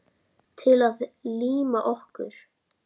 Til að líma okkur.